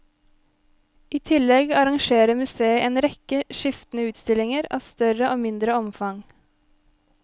I tillegg arrangerer museet en rekke skiftende utstillinger, av større og mindre omfang.